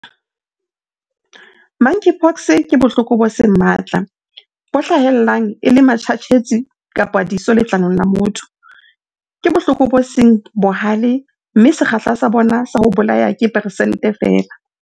Monkeypox ke bohloko bo seng matla, bo hlahellang e le matjhatjhetsi kapa diso letlalong la motho. Ke bohloko bo seng bohale mme sekgahla sa bona sa ho bolaya ke persente feela.